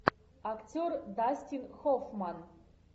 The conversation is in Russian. актер дастин хоффман